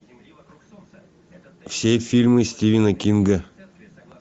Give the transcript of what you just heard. все фильмы стивена кинга